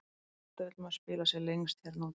Auðvitað vill maður spila sem lengst hérna úti.